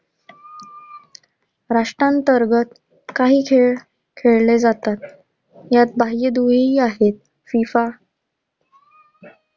राष्ट्रांतर्गत काही खेळ खेळले जातात. ह्यात बाह्य दुही ही आहेत. FIFA